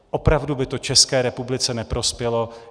Opravdu by to České republice neprospělo.